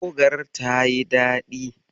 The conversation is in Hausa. Bogar tayi daɗi.